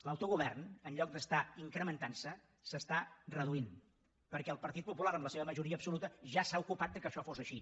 l’autogovern en lloc d’estar incrementantse s’està reduint perquè el partit popular amb la seva majoria absoluta ja se n’ha ocupat que això fos així